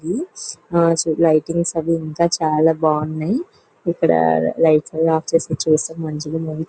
ఆహ్ so lightings అవి ఇంకా చాలా బావున్నాయ్ ఇక్కడ లైట్స్ ఆన్నీ ఆఫ్ చేసి చూస్తే మంచిగుంద --